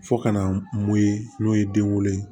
Fo ka na mun ye n'o ye den wolo ye